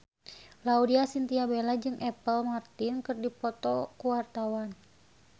Laudya Chintya Bella jeung Apple Martin keur dipoto ku wartawan